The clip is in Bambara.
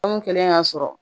kɛlen y'a sɔrɔ